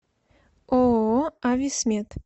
ооо ависмед